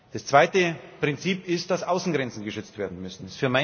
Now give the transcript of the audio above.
Das zweite Prinzip ist, dass Außengrenzen geschützt werden müssen.